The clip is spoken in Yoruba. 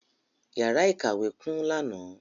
Yàrá ìkàwé kún lánàá.